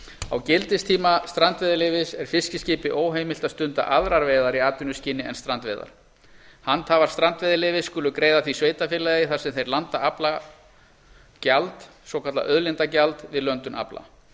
á gildistíma strandveiðileyfis er fiskiskipi óheimilt að stunda aðrar veiðar í atvinnuskyni en strandveiðar handhafar strandveiðileyfis skulu greiða því sveitarfélagi þar sem þeir landa afla gjald avokallað auðlindagjald við löndun afla